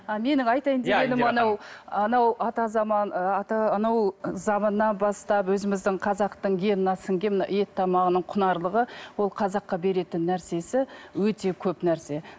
а менің айтайын дегенім анау анау ата заман ы анау заманнан бастап өзіміздің қазақтың геніне сіңген мынау ет тамағының құнарлығы ол қазаққа беретін нәрсесі өте көп нәрсе